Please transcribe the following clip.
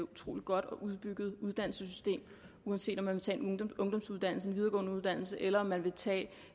utrolig godt og udbygget uddannelsessystem uanset om man vil tage en ungdomsuddannelse en videregående uddannelse eller om man vil tage